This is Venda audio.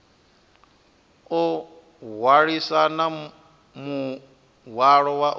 o hwalisana muhwalo wa u